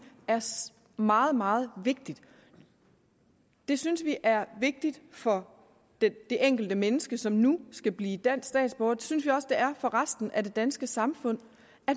er meget meget vigtigt det synes vi er vigtigt for det enkelte menneske som nu skal blive dansk statsborger det synes vi også det er for resten af det danske samfund